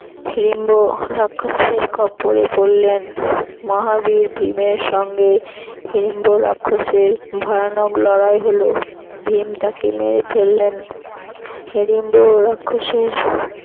হিড়িম্ভ রাক্ষসের খপ্পড়ে পরলেন মহাবীর ভীমের সঙ্গে হিড়িম্ভ রাক্ষসের ভয়ানক লড়াই হল ভীম তাকে মেরে ফেললেন হিড়িম্ভ রাক্ষসের